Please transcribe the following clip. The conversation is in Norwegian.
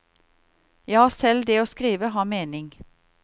Ja, selv det å skrive har mening.